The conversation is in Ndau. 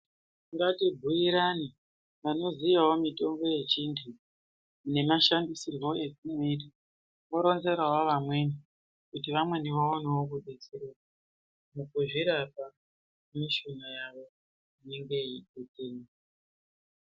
Ngatibhuurane vanoziyawo mitombo yechirungu nemashandisirwo ayinoitwa voronzerawo vamweni kuti vamweni vakonewo kudetsereka mukuzviripa mishonga yawo innenge yeitwayo.